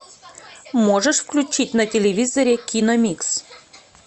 можешь включить на телевизоре киномикс